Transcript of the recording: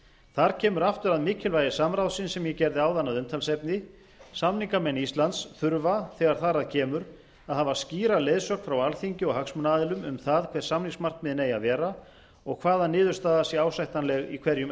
þar kemur aftur að mikilvægi samráðsins sem ég gerði áðan að umtalsefni samningamenn íslands þurfa þegar þar að kemur að hafa skýra leiðsögn frá alþingi og hagsmunaaðilum um það hver samningsmarkmiðin eigi að vera og hvaða niðurstaða sé ásættanleg í hverjum